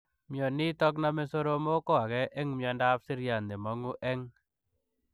Mionitok nomee soromok ko agee eng miondoop siryaat nemangu eng